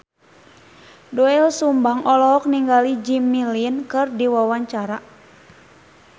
Doel Sumbang olohok ningali Jimmy Lin keur diwawancara